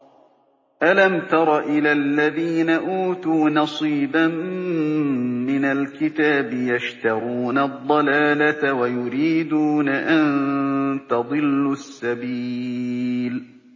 أَلَمْ تَرَ إِلَى الَّذِينَ أُوتُوا نَصِيبًا مِّنَ الْكِتَابِ يَشْتَرُونَ الضَّلَالَةَ وَيُرِيدُونَ أَن تَضِلُّوا السَّبِيلَ